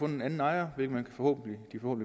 en anden ejer hvilket de forhåbentlig